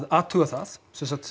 athuga það